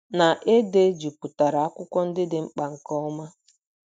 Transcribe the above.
na e dejupụtara akwụkwọ ndị dị mkpa nke ọma